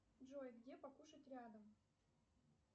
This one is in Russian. джой где покушать рядом